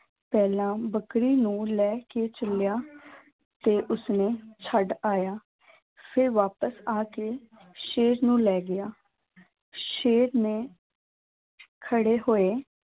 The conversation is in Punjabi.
ਪਹਿਲਾਂ ਬੱਕਰੀ ਨੂੰ ਲੈ ਕੇ ਚੱਲਿਆ ਤੇ ਉਸਨੂੰ ਛੱਡ ਆਇਆ ਫਿਰ ਵਾਪਸ ਆ ਕੇ ਸ਼ੇਰ ਨੂੰ ਲੈ ਗਿਆ, ਸ਼ੇਰ ਨੇ ਖੜੇ ਹੋਏ।